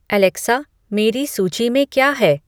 Alexa मेरी सूची में क्या है